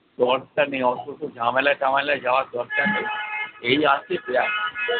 তোমার টা অত ঝামেলায় টামেলায় যাওয়ার দরকার নেই এই আছে